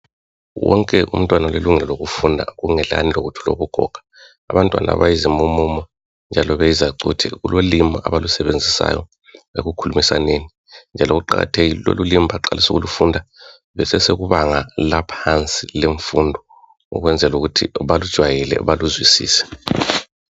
wonke umntwana ulelungelo lokufunda kungelani lokuthi ulokugoga abantwana abayizimumumu njalo beyizacuthe kulolimi abalusebenzisayo ekukhulumisaneni njalo kuqakathekile lolulimi baqalise ukulufunda besesekubanga laphansi lwemfundo ukwenzela ukuthi balujwayele baluzwisise